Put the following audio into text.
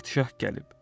Padşah gəlib.